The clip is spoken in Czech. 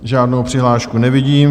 Žádnou přihlášku nevidím.